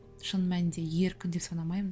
шын мәнінде еркін деп санамаймын